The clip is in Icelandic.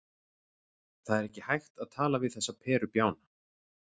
Það er ekki hægt að tala við þessa perubjána.